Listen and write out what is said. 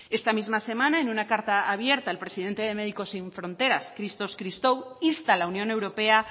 esta misma semana en una carta abierta el presidente de médicos sin fronteras christos christou insta a la unión europea